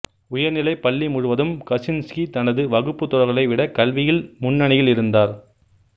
உயர்நிலைப் பள்ளி முழுவதும் கசின்ஸ்கி தனது வகுப்பு தோழர்களை விட கல்வியில் முன்னணியில் இருந்தார்